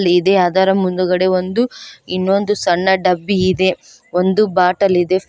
ಇದೆ ಅದರ ಮುಂದುಗಡೆ ಒಂದು ಇನ್ನೊಂದು ಸಣ್ಣ ಡಬ್ಬಿ ಇದೆ ಒಂದು ಬಟ್ಟಲ್ ಇದೆ.